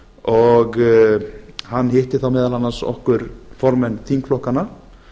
og hann hitti þá meðal annars okkur formenn þingflokkanna